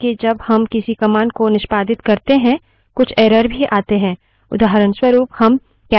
उदाहऱणस्वरूप हम cat space A A A cat space aaa type करते हैं और enter दबाते हैं